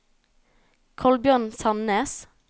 Kolbjørn Sannes